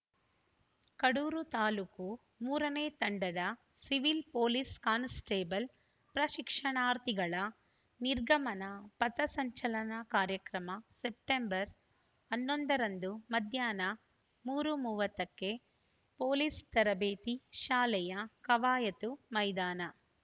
ಕಡೂರು ತಾಲೂಕು ಮೂರನೇ ತಂಡದ civil police constable ಪ್ರಶಿಕ್ಷಣಾರ್ಥಿಗಳ ನಿರ್ಗಮನ ಪಥಸಂಚಲನ ಕಾರ್ಯಕ್ರಮ ಸೆಪ್ಟೆಂಬರ್ ಹನ್ನೊಂದ ರಂದು ಮಧ್ಯಾಹ್ನ ಮೂರು ಮೂವತ್ತ ಕ್ಕೆ ಪೊಲೀಸ್‌ ತರಬೇತಿ ಶಾಲೆಯ ಕವಾಯತು ಮೈದಾನ